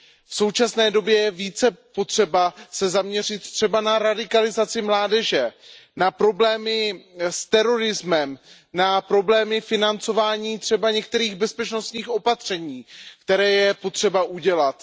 V současné době je více potřeba se zaměřit na radikalizaci mládeže, na problémy s terorismem, na problémy financování některých bezpečnostních opatření, která je potřeba udělat.